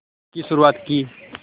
की शुरुआत की